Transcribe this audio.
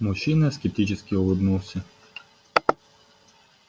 мужчина скептически улыбнулся